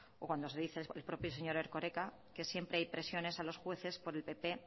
o cuando dice el propio señor erkoreka que siempre hay presiones a los jueces por el pp